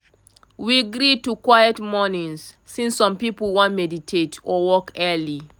we gree to quiet mornings since some people wan meditate or work early.